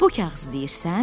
Bu kağızı deyirsən?